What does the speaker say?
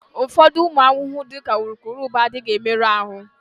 Ụfọdụ ụmụ ahụhụ, dị ka urukurubụba, adịghị emerụ ahụ.